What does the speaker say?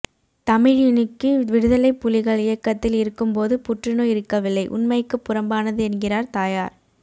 தமிழினிக்கு விடுதலைப் புலிகள் இயக்கத்தில் இருக்கும்போது புற்றுநோய் இருக்கவில்லை உண்மைக்குப் புறம்பானது என்கிறார் தாயார்